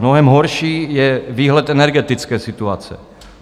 Mnohem horší je výhled energetické situace.